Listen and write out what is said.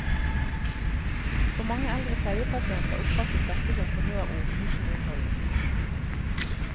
For mange eldre pleiepasienter oppfattes dette som honnørord uten innhold.